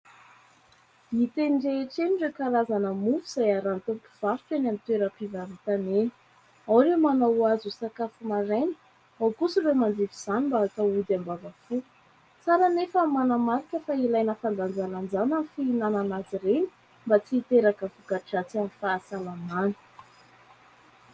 hita eny an-tsena ireny karazana mofo izay arahin'ny tompon' ny varotra eny amin'ny toeram-pivarotana eny ;ao ireo manao azy ho sakafo maraina, ao kosa ireo manjifa izany mba hatao ody am-bava fo, tsara anefa manamarika fa ilaina fandanjalanjana ny fihinanana azy ireny mba tsy hiteraka vok-dratsy amin'ny fahasalamany